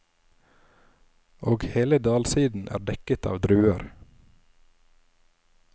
Og hele dalsiden er dekket av druer.